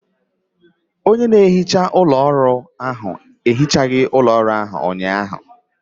Onye na-ehicha ụlọ ọrụ ehichaghị ọfiisi ụnyaahụ